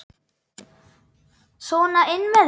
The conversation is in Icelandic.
Sona inn með þig!